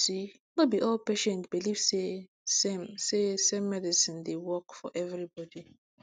you see no b all patients believe say same say same medicine dey work for everybody